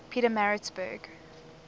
pietermaritzburg